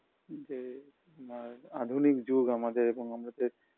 যে আ আধুনিক যুগ আমাদের এবং আমাদের